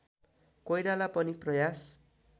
कोइराला पनि प्रयास